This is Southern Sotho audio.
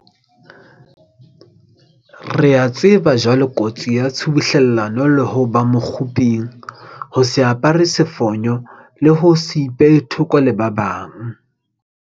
Re a tseba jwale kotsi ya tshubuhlellano le ho ba mokguping, ho se apare sefonyo le ho se ipehe thoko le ba bang.